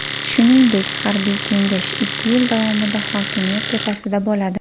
Shuningdek, harbiy kengash ikki yil davomida hokimiyat tepasida bo‘ladi.